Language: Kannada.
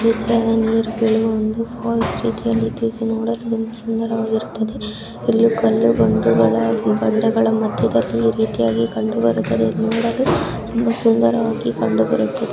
ಇದು ನೋಡಲು ಸುದಾರವವಾಗಿರುತ್ತದೆ ಇಲ್ಲಿ ಕಲ್ಲು ಬಂಡೆಗಳು ಮದ್ಯ ದಲ್ಲಿ ಈ ರೀತಿಯಾಗಿ ಕಂಡುಬರುತ್ತದೆ ನೋಡಲು ತುಂಬಾ ಸುಂದರವಾಗಿ ಕಂಡು ಬರುತ್ತದೆ.